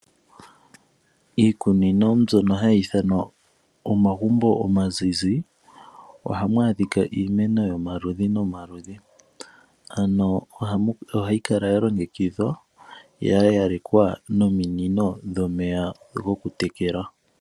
Iikunino mbyono hayi ithanwa omagumbo omazizi ohamu adhika iimeno yomaludhi nomaludhi , ano ohayi kala ya longekidhwa ya yalekwa nominino dhomeya goku tekela.